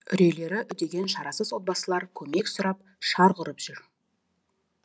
үрейлері үдеген шарасыз отбасылар көмек сұрап шарқ ұрып жүр